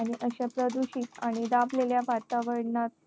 आणि अशा प्रदूषित आणि दाबलेल्या वातावरणात